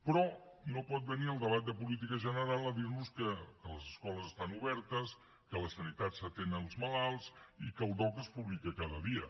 però no pot venir al debat de política general a dir nos que les escoles estan obertes que a la sanitat s’atenen els malalts i que el dogc es publica cada dia